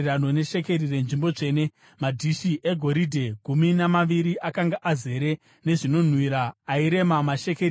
Madhishi egoridhe gumi namaviri akanga azere nezvinonhuhwira airema mashekeri zana namakumi maviri .